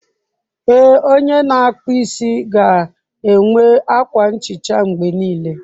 Ee, onye na-akpụ isi ga-enwe akwa nhicha mgbe niile.